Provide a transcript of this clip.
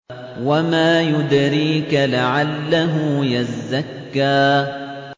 وَمَا يُدْرِيكَ لَعَلَّهُ يَزَّكَّىٰ